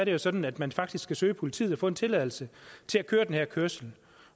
jo sådan at man faktisk skal søge politiet for at få en tilladelse til at køre den her kørsel